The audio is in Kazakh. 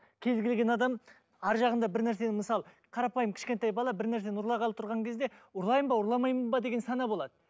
кез келген адам арғы жағында бір нәрсенің мысалы қарапайым кішкентай бала бір нәрсені ұрлағалы тұрған кезде ұрлайын ба ұрламайын ба деген сана болады